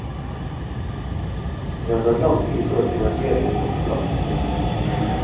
Det har tatt lang tid før finansieringen kom på plass.